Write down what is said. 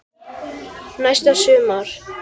Næsta sumar.